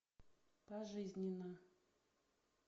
пожизненно